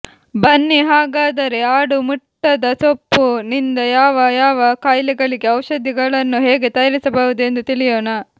ಬನ್ನಿ ಹಾಗಾದರೆ ಆಡು ಮುಟ್ಟದ ಸೊಪ್ಪು ನಿಂದ ಯಾವ ಯಾವ ಕಾಯಿಲೆಗಳಿಗೆ ಔಷಧಿಗಳನ್ನು ಹೇಗೆ ತಯಾರಿಸಬಹುದು ಎಂದು ತಿಳಿಯೋಣ